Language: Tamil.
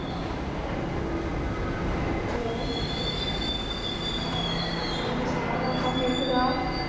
hello hello சாரதாக்கா கேக்குதா